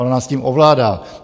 Ona s tím ovládá.